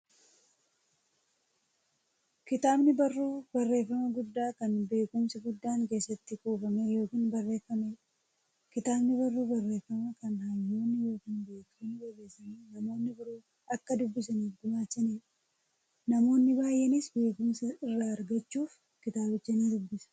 Kitaabni barruu barreeffamaa guddaa, kan beekumsi guddaan keessatti kuufame yookiin barreefameedha. Kitaabni barruu barreeffamaa, kan hayyoonni yookiin beektonni barreessanii, namni biroo akka dubbisaniif gumaachaniidha. Namoonni baay'eenis beekumsa irraa argachuuf kitaabicha ni dubbisu.